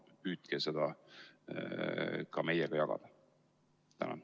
Palun püüdke seda ka meiega jagada!